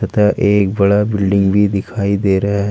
अतः एक बड़ा बिल्डिंग भी दिखाई दे रहा है।